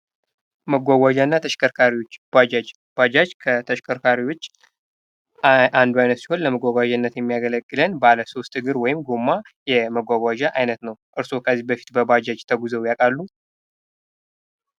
መጓጓዣና ተሽካሪዎች ባጃጅ:- ባጃጅ ከተሽከርካሪዎች አንዱ አይነት ሲሆን ለመጓጓዣነት የሚያገለግለን ባለ ሦስት እግር ወይም ጎማ የመጓጓዣ አይነት ነዉ። እርስዎ ከዚህ በፊት በባጃጅ ተጉዘዉ ያዉቃሉ?